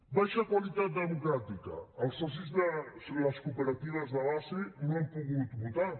baixa qualitat democràtica els socis de les cooperatives de base no han pogut votar